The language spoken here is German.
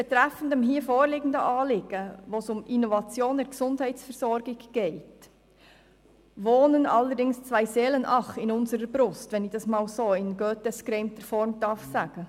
Betreffend das hier vorliegende Anliegen, bei dem es um Innovationen in der Gesundheitsversorgung geht, wohnen allerdings zwei Seelen, ach, in unserer Brust, um es mit Goethes Worten zu sagen.